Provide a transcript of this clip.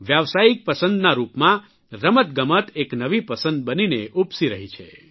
વ્યાવસાયિક પસંદના રૂપમાં રમતગમત એક નવી પસંદ બનીને ઉપસી રહી છે